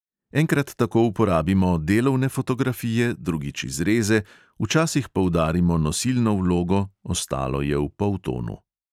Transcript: Enkrat tako uporabimo delovne fotografije, drugič izreze, včasih poudarimo nosilno vlogo, ostalo je v poltonu ...